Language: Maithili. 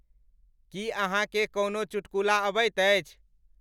कि अहाँकें कओनो चुटकुला अबइत अछि?